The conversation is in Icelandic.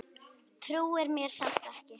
Trúir mér samt ekki.